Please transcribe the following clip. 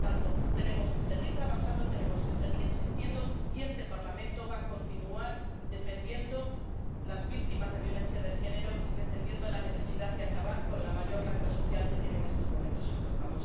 Por lo tanto, tenemos que seguir trabajando, tenemos que seguir insistiendo y este Parlamento va a continuar defendiendo a las víctimas de la violencia de género y defendiendo la necesidad de acabar con la mayor lacra social que tiene en estos momentos Europa.